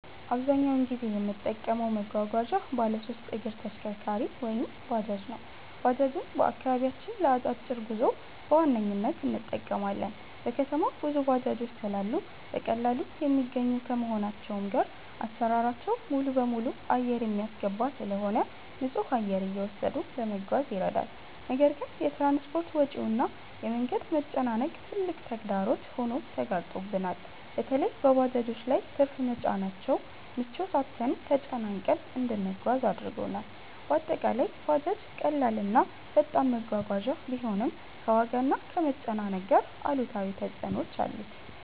አብዛኛውን ጊዜ የምጠቀመው መጓጓዣ ባለሶስት እግር ተሽከርካሪ(ባጃጅ) ነው። ባጃጅን በአከባቢያችን ለ አጫጭር ጉዞ በዋነኝነት እንጠቀማለን። በከተማው ብዙ ባጃጆች ስላሉ በቀላሉ የሚገኙ ከመሆናቸውም ጋር አሰራራቸው ሙሉበሙሉ አየር የሚያስገባ ስለሆነ ንፁህ አየር እየወሰዱ ለመጓዝ ይረዳል። ነገር ግን የ ትራንስፖርት ወጪው እና የ መንገድ መጨናነቅ ትልቅ ተግዳሮት ሆኖ ተጋርጦብናል። በለይም በባጃጆች ላይ ትርፍ መጫናቸው ምቾት አጥተንና ተጨናንቀን እንድንጓጓዝ አድርጎናል። በአጠቃላይ ባጃጅ ቀላል እና ፈጣን መጓጓዣ ቢሆንም፣ ከዋጋና ከመጨናነቅ ጋር አሉታዊ ተፅዕኖዎች አሉት።